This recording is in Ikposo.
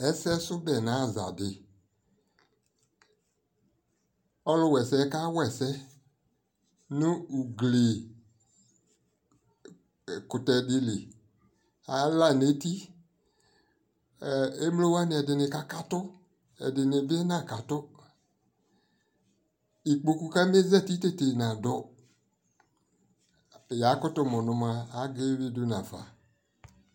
ɛsɛsʋbɛ nʋ aza di, ɔlʋ wa ɛsɛ ka wa ɛsɛ nʋ ʋgli kʋtɛ dili, ala nʋ ɛti, ɛ ɛmlɔ wani ɛdi kakatʋ ɛdini bi nakatʋ, ikpɔkʋ kamɛ zati tɛtɛ nadʋ, yakʋtʋ mʋnʋ mɔa aga ɛwidʋ nafa